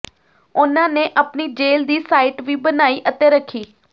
ਉਨ੍ਹਾਂ ਨੇ ਆਪਣੀ ਜੇਲ੍ਹ ਦੀ ਸਾਈਟ ਵੀ ਬਣਾਈ ਅਤੇ ਰੱਖੀ